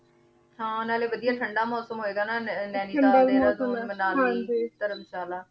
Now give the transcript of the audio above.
ਆਯ ਗਾ ਨਾ ਨੈਨੀਤਾਲ ਹਾਂਜੀ ਧਰਮਸ਼ਾਲਾ ਵੀਕੇੰਡ ਤੇ ਸਬ ਤੋਂ ਵਾਦਿਯ ਮਨੀ ਜਾਂਦੇ ਆਯ ਇਹ